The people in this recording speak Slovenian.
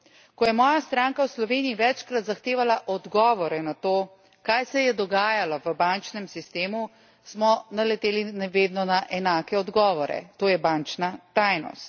Ko je moja stranka v Sloveniji večkrat zahtevala odgovore na to, kaj se je dogajalo v bančnem sistemu, smo naleteli vedno na enake odgovore to je bančna tajnost.